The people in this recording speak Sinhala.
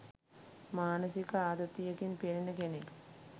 මානසික ආතතියකින් පෙළෙන කෙනෙක්